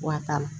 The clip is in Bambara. Wa t'a la